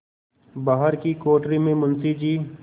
बाहर की कोठरी में मुंशी जी